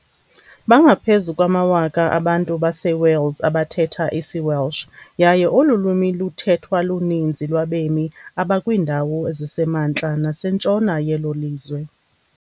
Bangaphezu kwamawaka abantu baseWales abathetha isiWelsh, yaye olu lwimi luthethwa luninzi lwabemi abakwiindawo ezisemantla nasentshona yelo lizwe.